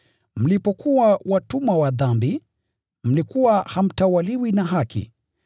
Mlipokuwa watumwa wa dhambi, mlikuwa hamtawaliwi na haki.